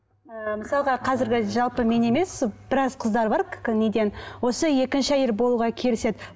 ііі мысалға қазіргі жалпы мен емес біраз қыздар бар неден осы екінші әйел болуға келіседі